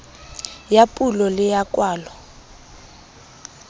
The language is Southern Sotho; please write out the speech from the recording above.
ya pulo le ya kwalo